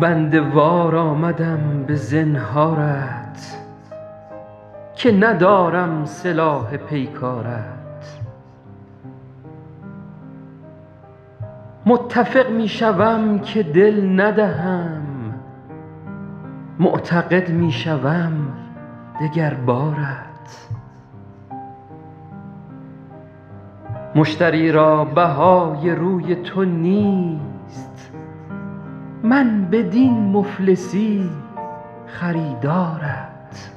بنده وار آمدم به زنهارت که ندارم سلاح پیکارت متفق می شوم که دل ندهم معتقد می شوم دگر بارت مشتری را بهای روی تو نیست من بدین مفلسی خریدارت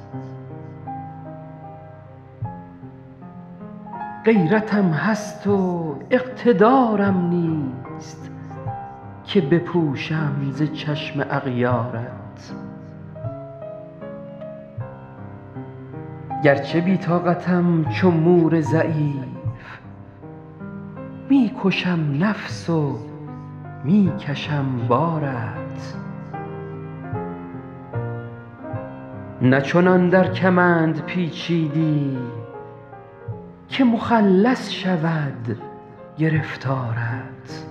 غیرتم هست و اقتدارم نیست که بپوشم ز چشم اغیارت گرچه بی طاقتم چو مور ضعیف می کشم نفس و می کشم بارت نه چنان در کمند پیچیدی که مخلص شود گرفتارت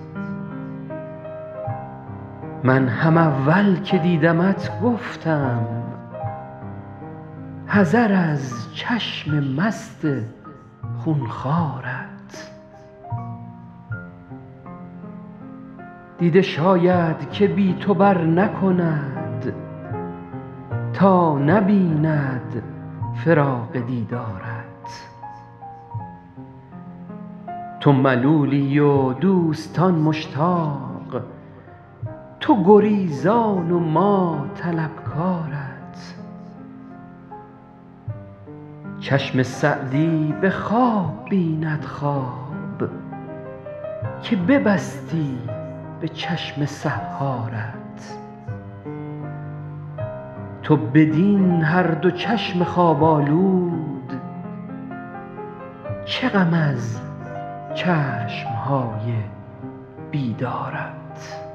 من هم اول که دیدمت گفتم حذر از چشم مست خون خوارت دیده شاید که بی تو برنکند تا نبیند فراق دیدارت تو ملولی و دوستان مشتاق تو گریزان و ما طلبکارت چشم سعدی به خواب بیند خواب که ببستی به چشم سحارت تو بدین هر دو چشم خواب آلود چه غم از چشم های بیدارت